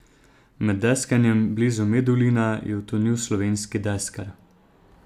Med deskanjem blizu Medulina je utonil slovenski deskar.